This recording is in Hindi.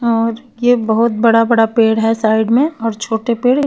और ये बहुत बड़ा बड़ा पेड़ है साईड में और छोटे पेड़ --